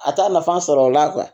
A t'a nafa sɔrɔ o la